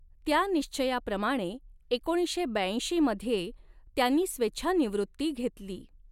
त्या निश्चयाप्रमाणे एकोणीसशे ब्याऐंशी मध्ये त्यांनी स्वेच्छानिवॄत्ती घेतली.